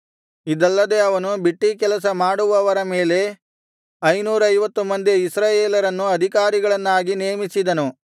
ಇದಲ್ಲದೆ ಅವನು ಬಿಟ್ಟೀಕೆಲಸ ಮಾಡುವವರ ಮೇಲೆ ಐನೂರೈವತ್ತು ಮಂದಿ ಇಸ್ರಾಯೇಲರನ್ನು ಅಧಿಕಾರಿಗಳನ್ನಾಗಿಯೂ ನೇಮಿಸಿದನು